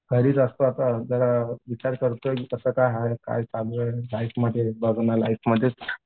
घरीच असतोय जरा विचार करतोय की कसं काय हाय काय चालू आहे लाईफमध्ये लाईफमध्येच.